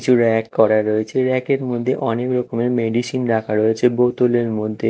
কিছু করা রয়েছে ব়্যাক -এর মধ্যে অনেক রকমের মেডিসিন রাখা রয়েছে বোতলের মধ্যে।